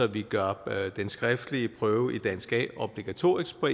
vi gør den skriftlige prøve i dansk a obligatorisk på